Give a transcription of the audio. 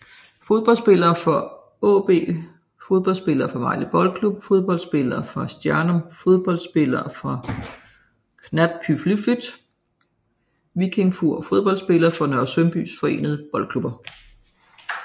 Fodboldspillere fra AaB Fodboldspillere fra Vejle Boldklub Fodboldspillere fra Stjarnan Fodboldspillere fra Knattspyrnufélagið Víkingur Fodboldspillere fra Nørresundby Forenede Boldklubber